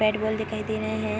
Bat ball दिखाई दे रहे हैं।